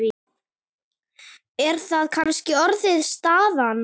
Er það kannski orðin staðan?